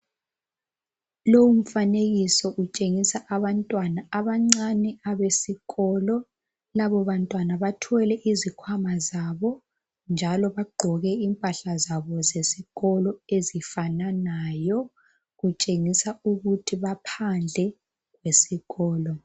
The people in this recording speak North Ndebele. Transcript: Lowu mfanekiso utshengisa abantwana abancane abesikolo. Labo bantwana bathwele izikhwama zabo njalo bagqoke impahla zabo zesikolo ezifananayo. Kutshengisa ukuthi baphandle kwesikolo.